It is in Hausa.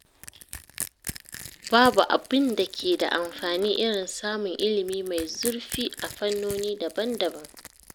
Babu abin da ke da amfani irin samun ilimi mai zurfi a fannoni daban-daban.